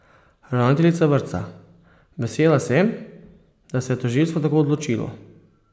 Ravnateljica vrtca: 'Vesela sem, da se je tožilstvo tako odločilo'.